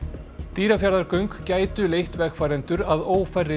Dýrafjarðargöng gætu leitt vegfarendur að